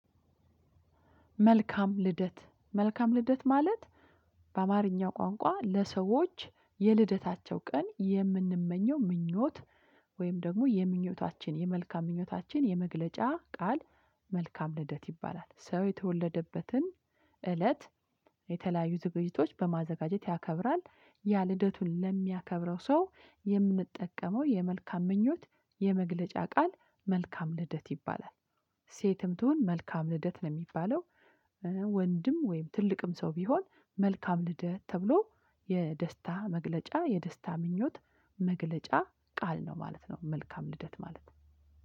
መልካም ልደት። መልካም ልደት ማለት፣ ባማርኛ ቋንቋ ለሰዎች የልደታቸው ቀን የምንመኘው ምኞት ወይም ደሞ የምኞታችን፣ የመልካም ምኞታችን የመግለጫ ቃል መልካም ልደት ይባላል። ሰው የተወለደበትን እለት የተለያዩ ዝግጅቶች በማዘጋጀት ያከብራል። ያ ልደቱን ለሚያከብረው ሰው የምንጠቀመው የመልካም ምኞት የመግለጫ ቃል መልካም ልደት ይባላል። ሴትም ትሁን መልካም ልደት ነው ሚባለው። እ ወንድም ወይም ትልቅም ሰው ቢሆን መልካም ልደት ተብሎ የደስታ መግለጫ የደስታ ምኞት መግለጫ ቃል ነው ማለት ነው፣ መልካም ልደት ማለት።